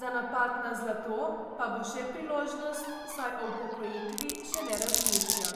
za napad na zlato pa bo še priložnost, saj o upokojitvi še ne razmišlja.